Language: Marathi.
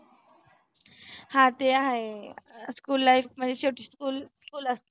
हा ते हाये school life म्हणजे शेवटी school school असते.